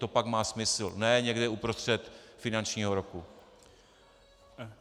To pak má smysl, ne někde uprostřed finančního roku.